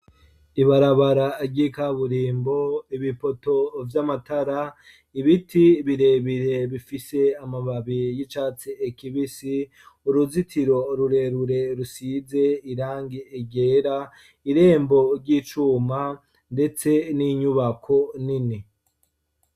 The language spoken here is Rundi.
Ibarabara ry'ikaburimbo ibipoto vy'amatara ibiti birebire bifise amababi y'icatse ekibisi uruzitiro rurerure rusize irange egera irembo ry'icuma, ndetse n'inyubako nini.